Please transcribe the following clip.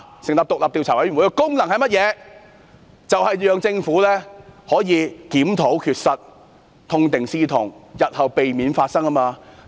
成立獨立調查委員會徹查事件，目的正正是讓政府檢討缺失、痛定思痛，避免日後再次發生同類事件。